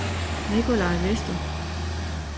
Nicolai Vester